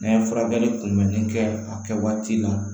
N'an ye furakɛli kunbɛnni kɛ a kɛ waati la